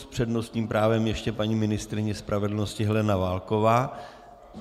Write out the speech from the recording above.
S přednostním právem ještě paní ministryně spravedlnosti Helena Válková.